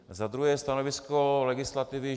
Za druhé stanovisko legislativy.